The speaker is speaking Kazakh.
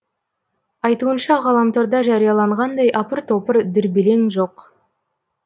айтуынша ғаламторда жарияланғандай апыр топыр дүрбелең жоқ